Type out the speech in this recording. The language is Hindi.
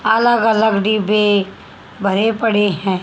अलग अलग डिब्बे भरे पड़े हैं।